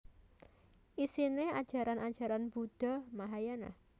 Isine ajaran ajaran Buddha Mahayana